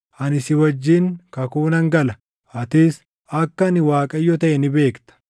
Ani si wajjin kakuu nan gala; atis akka ani Waaqayyo taʼe ni beekta.